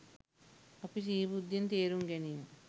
අපි සිහි බුද්ධියෙන් තේරුම් ගැනීම